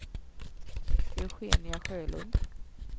Eugenia Sjölund